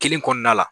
Kelen kɔnɔna la